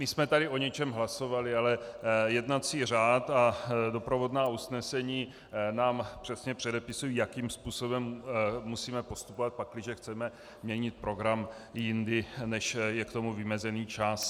My jsme tady o něčem hlasovali, ale jednací řád a doprovodná usnesení nám přesně předepisují, jakým způsobem musíme postupovat, pakliže chceme měnit program jindy, než je k tomu vymezený čas.